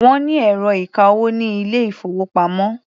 Wọ́n ní ẹ̀rọ ìka-owó ní ilé-ìfowópamọ́.